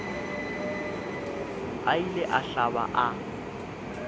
a ile a hlaba a